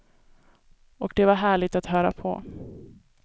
Och det var härligt att höra på.